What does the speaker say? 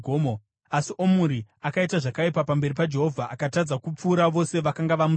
Asi Omuri akaita zvakaipa pamberi paJehovha, akatadza kupfuura vose vakanga vamutangira.